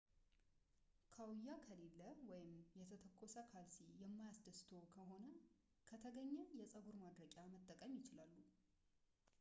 ካውያ ከሌለ ወይም የተተኮሰ ካልሲ የማያስደስትዎት ከሆነ ከተገኘ የጸጉር ማድረቂያ መጠቀም ይችላሉ